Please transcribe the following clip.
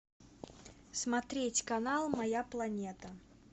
смотреть канал моя планета